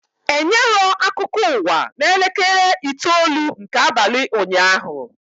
Enyerọ akụkọ ụwa na elekere itoolu nke abalị ụnyaahụ